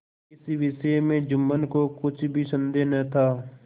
इस विषय में जुम्मन को कुछ भी संदेह न था